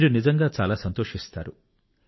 మీరు నిజంగా చాలా ఎంజాయ్ చేస్తారు